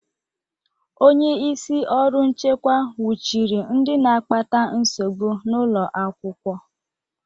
Onye isi ọrụ nchekwa nwụchiri ndị na-akpata nsogbu n'ụlọ akwụkwọ.